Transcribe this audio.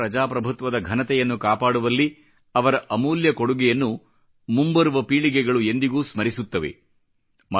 ಭಾರತೀಯ ಪ್ರಜಾಪ್ರಭುತ್ವದ ಘನತೆಯನ್ನು ಕಾಪಾಡುವಲ್ಲಿ ಅವರ ಅಮೂಲ್ಯ ಕೊಡುಗೆಯನ್ನು ಮುಂಬರುವ ಪೀಳಿಗೆಗಳು ಎಂದಿಗೂ ಸ್ಮರಿಸುತ್ತವೆ